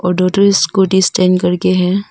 दो ठो scooty stand करके है।